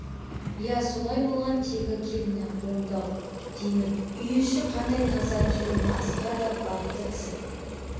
ие солай болған тегі келіні оңды-ау деймін үй іші қандай таза келіні асқа да бапты кісі